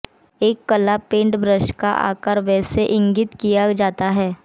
एक कला paint brush का आकार कैसे इंगित किया जाता है